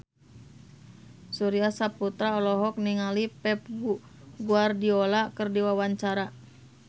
Surya Saputra olohok ningali Pep Guardiola keur diwawancara